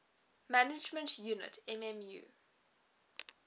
management unit mmu